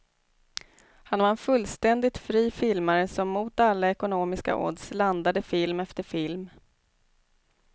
Han var en fullständig fri filmare som mot alla ekonomiska odds landade film efter film.